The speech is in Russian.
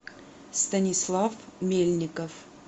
станислав мельников